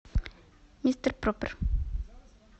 мистер проппер